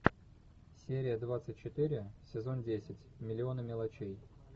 серия двадцать четыре сезон десять миллионы мелочей